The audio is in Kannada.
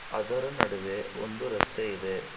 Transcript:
ಅದರ ನಡುವೆ ಒಂದು ರಸ್ತೆ ಇದೆ.